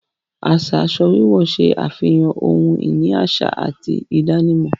Aṣa aṣọ wíwọ̀ ṣẹ afihàn ọ̀hun-ini aṣa àti ìdànímọ̀